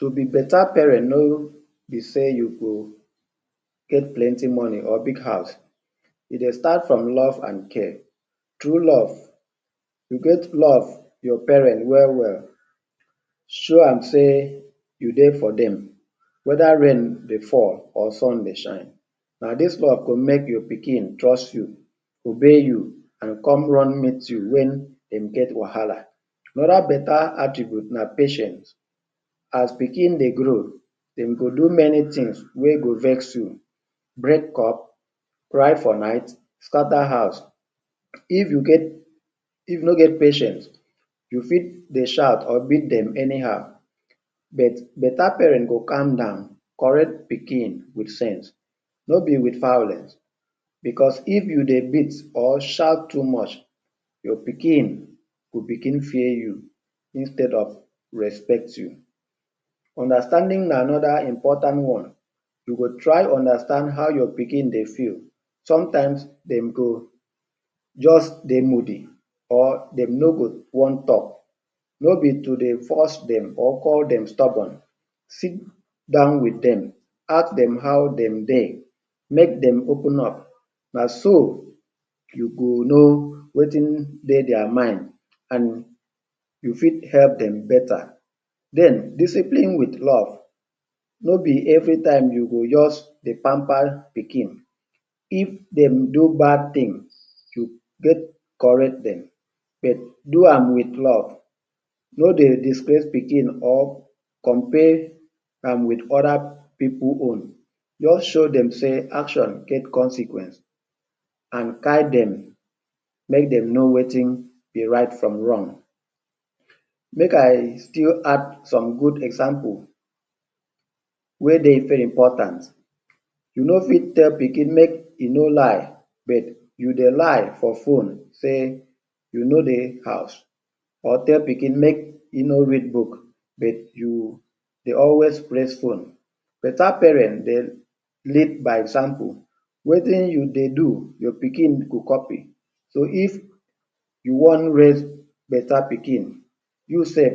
To be beta parent no be sey you go get plenty moni or big house, e dey start from love and care, true love, e get love to your parent we-we, show am sey you dey for dem weda rain dey fall or sun dey shine, na dis love go make your pikin trust you, obey you, come run meet you wen dey get wahala…the other beta atribute na patient as pikn dey grow, dem go do many tins wey go pain you, break cup, cry for night, skata house, if you no get patient you fit dey shout or beat dem any how but beta parent go come down correct pikin with sense no ne with violence, if you dey beat or shout too much your pikin go bigin fear you instead of respect you. Understanding another important one, you try understand how your pikin dey feel, sometimes dem go just dey moody or dem no go wan talk, no be to dey force dem or call dem stubborn. Sit down with dem, ask dem how dem dey make dem open up, na so you go no wetin dey dia mind, and you fit help dem beta. Then, discipline with love: no be every time you go just dey pampa pikin, if dem do bad tin you get corrected, do am with love no dey disgrace pikin or compare am with other s pipul own just show dem sey action get consequency and guide dem make dem know wetin be right from wrong. Make I still add some good example wey dey very important, you no fit tell pikin make e no lie but you dey lie for fone sey you no dey house or tell pikin make e no read but you dey always press fone. Beta parent dey lead by example. Wetin you dey do your pikin go kopi so if you wan raise beta pikin, you self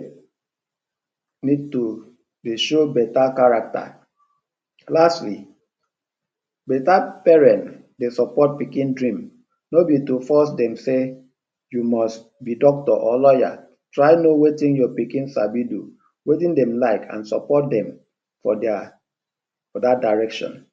need to dey show beta character. Lastly, beta parent dey support pikin dream, no be to force dem dey you must be doctor or lawyer try no wetin your pikin sabi do, wetin dem like and support dem for dat direction.